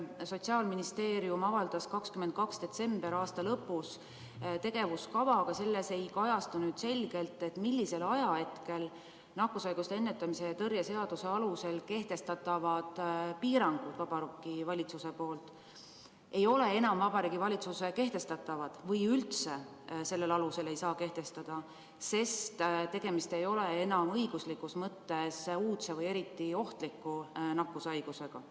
Sotsiaalministeerium avaldas 22. detsembril, aasta lõpus tegevuskava, aga selles ei kajastu selgelt, millal nakkushaiguste ennetamise ja tõrje seaduse alusel kehtestatavad piirangud ei ole enam Vabariigi Valitsuse kehtestatavad või millal üldse sellel alusel ei saa piiranguid kehtestada, sest tegemist ei ole enam õiguslikus mõttes uudse või eriti ohtliku nakkushaigusega.